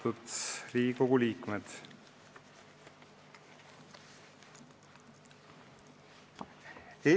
Austatud Riigikogu liikmed!